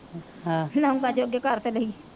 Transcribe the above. ਲੌਗਾਂ ਜੋਗੇ ਕਰ ਪਹਿਲੇ